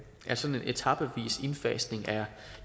etapevis indfasning er